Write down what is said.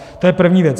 To je první věc.